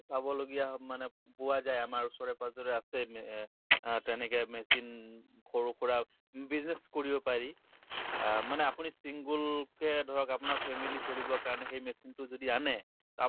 চাবলগীয়া মানে পোৱা যায়, আমাৰ ওচৰে পাজৰে আছে মে তেনেকে এ machine খৰু খুৰা business কৰিব পাৰি । মানে আপুনি চিগুল কে ধৰক আপোনাৰ family চলিব কাৰণে সেই machine তো যদি আনে । আমা